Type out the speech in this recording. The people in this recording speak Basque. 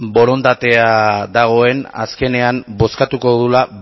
borondatea dagoen azkenean bozkatuko dugula